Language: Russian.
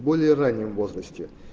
более раннем возрасте